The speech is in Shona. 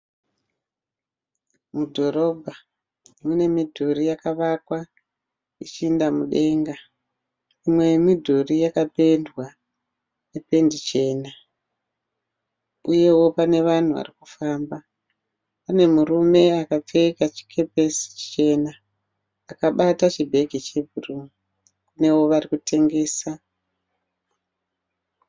Mudhorobha mune midhuri yakavakwa ichienda mudenga mimwe yemidhuri yakapendwa nependi chena. uyeo pane vanhu vari kufamba pane murume akapfeka chikepesi chichena akabata chibegi chebhuruu nearikutengesa.